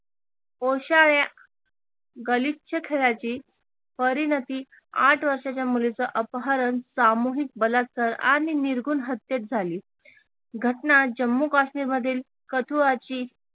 या गलिच्छ खेळाची परिणती आठ वर्षाच्या मुलीच अपहरण, सामूहिक बलात्कार आणि निर्गुण हत्त्येत झाली घटना जम्मू काश्मीरमधील कठुआची